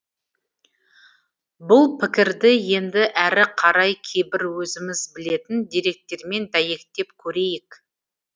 бұл пікірді енді әрі қарай кейбір өзіміз білетін деректермен дәйектеп көрейік